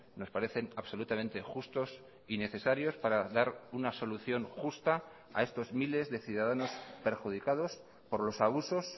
nos parecen absolutamente justos y necesarios para dar una solución justa a estos miles de ciudadanos perjudicados por los abusos